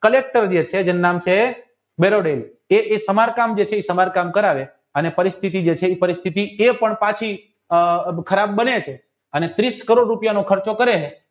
collector જે છે એનું નામ છે દરોદય એ સમર કામ જે એ સમર કામ કરાવે અને એ પરિસ્થિતિ એ પણ પછી ખરાબ બને છે અને ત્રીસ કરોડ રૂપિયાનો ખર્ચો કરે છે